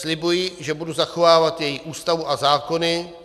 Slibuji, že budu zachovávat její Ústavu a zákony.